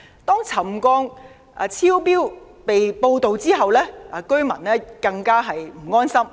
當沉降超標被報道後，居民更不安心。